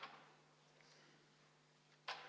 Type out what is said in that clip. Hääletamiskast tuuakse just neil hetkedel saali.